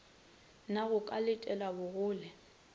na go ka letelwa bogole